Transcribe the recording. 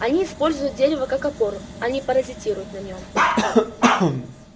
они используют дерево как опору а не паразитируют на нем